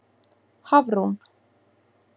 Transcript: Hafrún